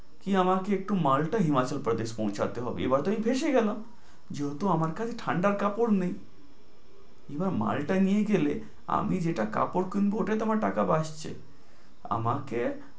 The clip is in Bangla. এ আমাকে একটু মালটা হিমাচল প্রদেশ পৌছাতে হবে, এবার তো আমি ফেঁসে গেলাম। যেহেতু আমার কাছে ঠাণ্ডার কাপড় নেই, কিংবা মালটা নিয়ে গেলে আমি যেটা কাপড় কিনব, ওটাই আমার টাকা বাচ্ছে,